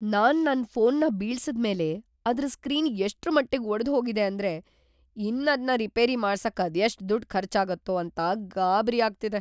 ನಾನ್‌ ನನ್‌ ಫೋನ್‌ನ ಬೀಳ್ಸಿದ್ಮೇಲೆ ಅದ್ರ್‌ ಸ್ಕ್ರೀನ್‌ ಎಷ್ಟ್ರಮಟ್ಟಿಗ್‌ ಒಡ್ದ್‌ಹೋಗಿದೆ ಅಂದ್ರೆ ಇನ್ನದ್ನ ರಿಪೇರಿ ಮಾಡ್ಸಕ್‌ ಅದೆಷ್ಟ್‌ ದುಡ್ಡ್‌ ಖರ್ಚಾಗತ್ತೋ ಅಂತ ಗಾಬ್ರಿ ಆಗ್ತಿದೆ.